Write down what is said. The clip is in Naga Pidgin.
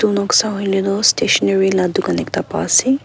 noksa hoile toh stationary la dukan ekta pa ase.